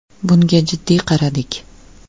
Bunga jiddiy qaradik.